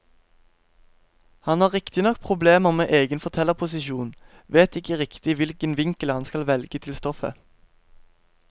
Han har riktignok problemer med egen fortellerposisjon, vet ikke riktig hvilken vinkel han skal velge til stoffet.